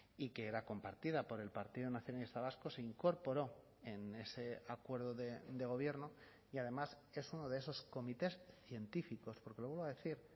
y que era compartida por el partido nacionalista vasco se incorporó en ese acuerdo de gobierno y además es uno de esos comités científicos porque lo vuelvo a decir